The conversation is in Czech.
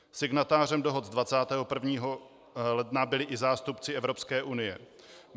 Signatářem dohod z 21. ledna byli i zástupci Evropské unie.